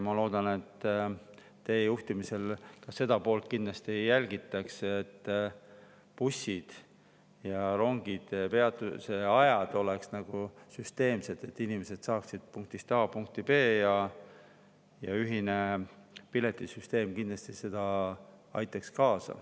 Ma loodan, et teie juhtimisel ka seda poolt kindlasti jälgitakse, et busside ja rongide peatumise ajad oleksid süsteemsed, et inimesed saaksid punktist A punkti B. Ühine piletisüsteem kindlasti aitaks sellele kaasa.